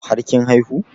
Har kin haihu?